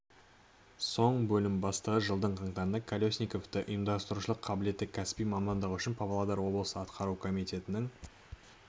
соң бөлім бастығы жылдың қаңтарында колесниковті ұйымдастырушылық қабілеті кәсіби мамандығы үшін павлодар облысы атқару комитетінің